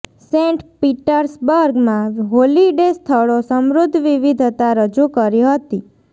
Saint Petersburg માં holiday સ્થળો સમૃદ્ધ વિવિધતા રજૂ કરી હતી